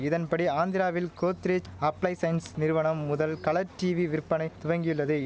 இதன்படி ஆந்திராவில் கோத்ரேஜ் அப்ளைசைன்ஸ் நிறுவனம் முதல் கலர் டீவி விற்பனை துவங்கியுள்ளதெய்